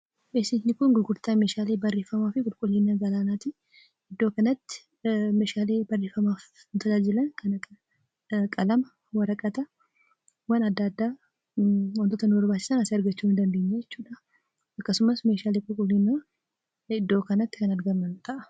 Beeksisni kun Gurgurtaa Meeshaalee Barreeffamaa fi Qulqullina Galaanaati. Iddoo kanatti meeshaalee barreeffamaaf nu tajaajilan kan akka qalama, waraqata waan adda addaa wantoota nu barbaachisan asii argachuu ni dandeenya jechuudha. Akkasumas, meeshaalee qulqullinaa iddoo kanatti kan argaman ta'a.